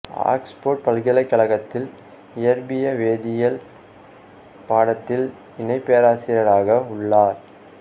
Oxford பல்கலைக்கழகத்தில் இயற்பிய வேதியியல் பாடத்தில் இணை பேராசிரியராக உள்ளார்